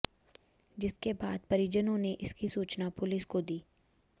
जिसके बाद परिजनों ने इसकी सूचना पुलिस को दी